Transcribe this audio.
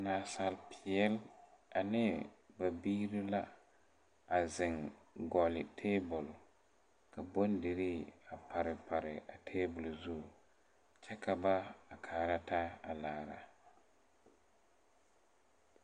Naasapeɛɛle ane ba biire la a zeŋ gɔlle tabol ka bondirii a pare pare o zu kyɛ ka ba kaara taa a laara.